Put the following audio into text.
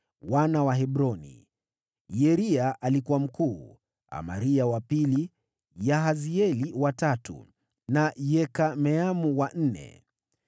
Wana wa Hebroni: Yeria alikuwa mkuu, Amaria wa pili, Yahazieli wa tatu, na Yekameamu wa nne.